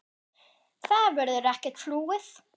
Það verður ekkert flúið.